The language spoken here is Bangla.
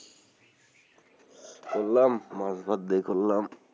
করলাম মাছ, ভাত দিয়ে করলাম,